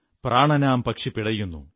പ്രാണനാം പക്ഷി പിടയുന്നു